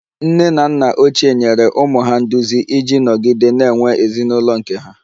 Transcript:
Nne na nna ochie nyere ụmụ ha nduzi iji nọgide na-enwe ezinụlọ nke ha